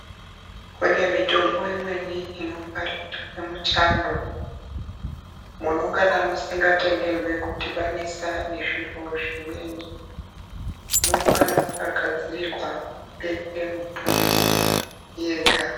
Kunemitombo imweni inongwarirwe muchando, munongana musingatenderwi kudibanisa nezviro zvimweni. Munongana makagadzirirwa kubeke mitombo yega.